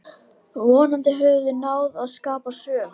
Vonandi höfum við náð að skapa sögu.